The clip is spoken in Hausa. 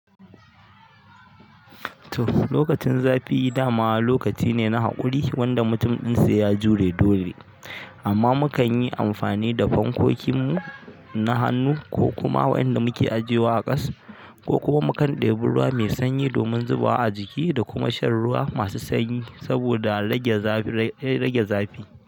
Toh lokacin zafi dama lokaci ne na haƙuri wanda mutum din sai ya jure dole. Amma mu kan yi amfani da fankokinmu na hannu, ko kuma wanƴanda muke ajiyewa a ƙasa, ko kuma mukan ɗebi ruwa mai sanyi domin zubawa a jiki da kuma shan ruwa masu sanyi saboda rage rage zafi.